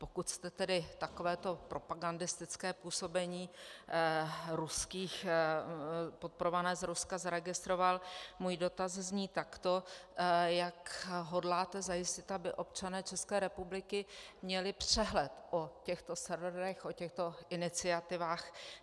Pokud jste tedy takovéto propagandistické působení podporované z Ruska zaregistroval, můj dotaz zní takto: Jak hodláte zajistit, aby občané České republiky měli přehled o těchto serverech, o těchto iniciativách?